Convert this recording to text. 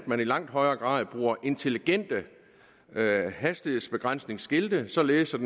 man i langt højere grad bruger intelligente hastighedsbegrænsningsskilte således at